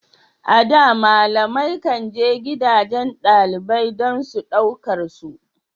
A da, malamai kan je gidajen dalibai don su ɗaukar su.